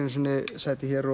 sæti hér